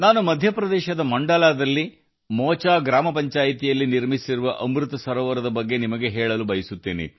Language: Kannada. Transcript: ಮಧ್ಯಪ್ರದೇಶದ ಮಾಂಡ್ಲಾದ ಮೋಚಾ ಗ್ರಾಮ ಪಂಚಾಯತ್ ನಲ್ಲಿ ನಿರ್ಮಿಸಲಾದ ಅಮೃತ ಸರೋವರದ ಬಗ್ಗೆಯೂ ನಾನು ನಿಮಗೆ ಹೇಳಲು ಬಯಸುತ್ತೇನೆ